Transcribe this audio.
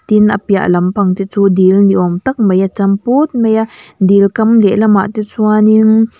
tin a piah lampang te chu dil ni awm tak mai a cham put mai a dil kam lehlamah te chuanin.